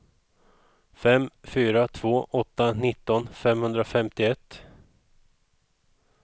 fem fyra två åtta nitton femhundrafemtioett